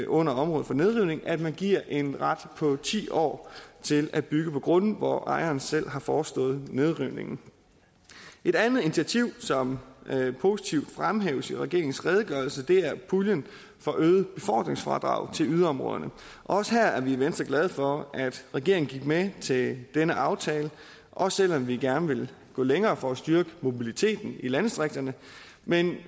under området for nedrivning at man giver en ret på ti år til at bygge på grunde hvor ejeren selv har forestået nedrivningen et andet initiativ som positivt fremhæves i regeringens redegørelse er puljen for øget befordringsfradrag til yderområderne også her er vi i venstre glade for at regeringen gik med til denne aftale også selv om vi gerne ville gå længere for at styrke mobiliteten i landdistrikterne men